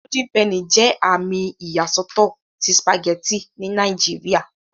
Golden penny jẹ àmì iyasọtọ tí spaghetti ní Nàìjíría.